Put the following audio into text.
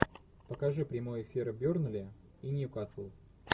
покажи прямой эфир бернли и ньюкасл